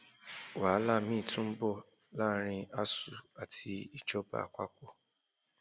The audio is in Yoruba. wàhálà miín tún ń bọ láàrin asuu àti ìjọba àpapọ